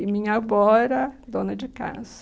E minha avó era dona de casa.